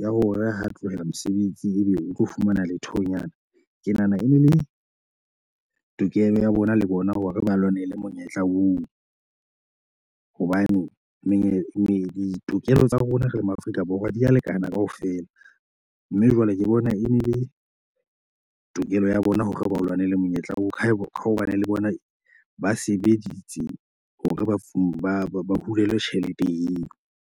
ya hore ha tlohela mosebetsi ebe o tlo fumana lethonyana. Ke nahana e ne le tokelo ya bona le bona hore ba lwanele monyetla oo hobane mane ditokelo tsa rona re le ma-Afrika Borwa di a lekana kaofela. Mme jwale ke bona e ne le tokelo ya bona hore ba lwanele monyetla wa ho hobane le bona ba sebeditse hore bafung ba ba hulelwa tjhelete eo.